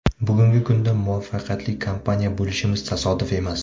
Bugungi kunda muvaffaqiyatli kompaniya bo‘lishimiz tasodif emas.